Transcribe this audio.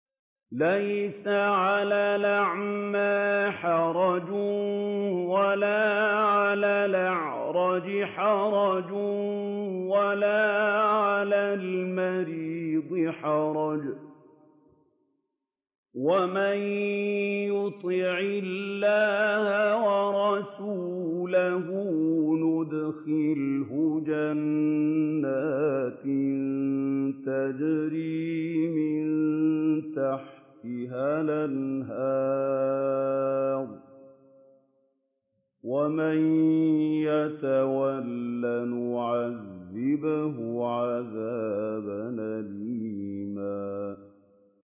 لَّيْسَ عَلَى الْأَعْمَىٰ حَرَجٌ وَلَا عَلَى الْأَعْرَجِ حَرَجٌ وَلَا عَلَى الْمَرِيضِ حَرَجٌ ۗ وَمَن يُطِعِ اللَّهَ وَرَسُولَهُ يُدْخِلْهُ جَنَّاتٍ تَجْرِي مِن تَحْتِهَا الْأَنْهَارُ ۖ وَمَن يَتَوَلَّ يُعَذِّبْهُ عَذَابًا أَلِيمًا